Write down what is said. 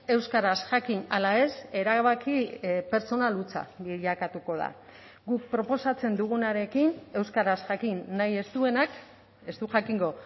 euskaraz jakin ala ez erabaki pertsonal hutsa bilakatuko da guk proposatzen dugunarekin euskaraz jakin nahi ez duenak ez du jakingo